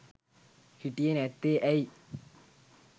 හිටියෙ නැත්තේ ඇයි.